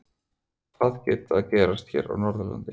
Hvað er að gerast hér á Norðurlandi?